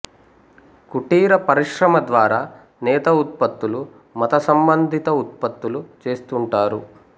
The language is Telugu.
కుటీర పరిశ్రమ ద్వారా నేత ఉత్పత్తులు మత సంబంధిత ఉత్పత్తులు చేస్తుంటారు